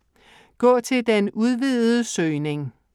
Gå til den udvidede søgning